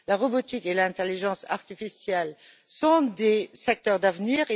La robotique et l'intelligence artificielle sont des secteurs d'avenir.